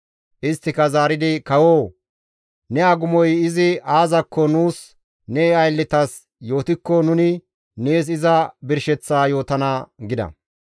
Isttika zaaridi, «Kawoo! Ne agumoy izi aazakko nuus ne aylletas yootikko nuni nees iza birsheththa yootana» gida.